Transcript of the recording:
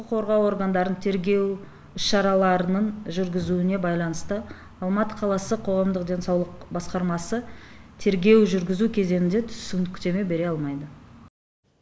құқық қорғау органдарын тергеу іс шаралараның жүргізуіне байланысты алматы қаласы қоғамдық денсаулық басқармасы тергеу жүргізу кезеңінде түсініктеме бере алмайды